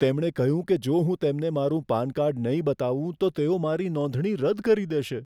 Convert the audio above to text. તેમણે કહ્યું કે જો હું તેમને મારું પાન કાર્ડ નહીં બતાવું તો તેઓ મારી નોંધણી રદ કરી દેશે.